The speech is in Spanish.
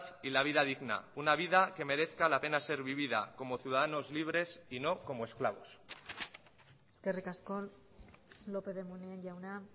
y la vida digna una vida que merezca la pena ser vivida como ciudadanos libres y no como esclavos eskerrik asko lópez de munain jauna